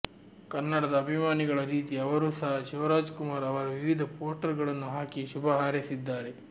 ಕನ್ನಡದ ಅಭಿಮಾನಿಗಳ ರೀತಿ ಅವರೂ ಸಹ ಶಿವರಾಜ್ ಕುಮಾರ್ ಅವರ ವಿವಿಧ ಪೋಸ್ಟರ್ ಗಳನ್ನು ಹಾಕಿ ಶುಭ ಹಾರೈಸಿದ್ದಾರೆ